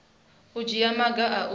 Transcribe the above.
u dzhiwa maga a u